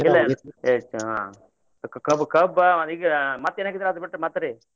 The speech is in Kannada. ಕ~ ಕಬ~ ಕಬ್ಬಾ ಈಗ ಮತ್ತೆ ಏನ್ ಹಾಕಿದ್ದೀರಿ ಅದ ಬಿಟ್ಟ ಮತ್ತ್ ರೀ?